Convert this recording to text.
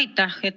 Aitäh!